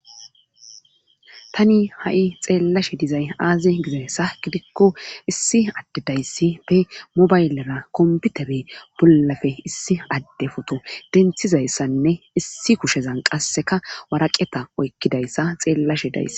tani ha7i xeellashe dizay aaze gizayssa gidikko issi adde dayssi be mobaylera kombitabe bollafe issi adde foto denthizayssanne issi kushezan qasseka waraqeta oykkidayssa xeellashe dayse